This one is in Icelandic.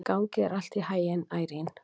Gangi þér allt í haginn, Irene.